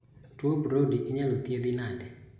Tuo Brody inyalo thiedhi nade